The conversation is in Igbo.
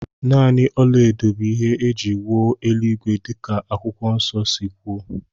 Nanị ọlaedo bụ ihe é jị wuo eluigwe dika akwụkwọ nso si kwuo